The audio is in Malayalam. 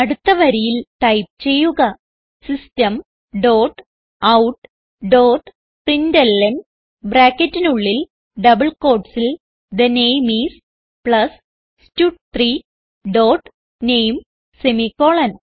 അടുത്ത വരിയിൽ ടൈപ്പ് ചെയ്യുക system dot out dot println ബ്രാക്കറ്റിനുള്ളിൽ ഡബിൾ quotesൽ തെ നാമെ ഐഎസ് പ്ലസ് സ്റ്റഡ്3 ഡോട്ട് നാമെ സെമിക്കോളൻ